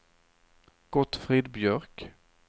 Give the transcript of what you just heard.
Gottfrid Björk